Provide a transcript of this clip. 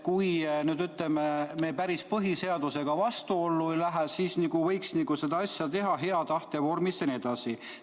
Kui me nüüd, ütleme, põhiseadusega päris vastuollu ei lähe, siis võiks seda asja teha hea tahte vormis jne.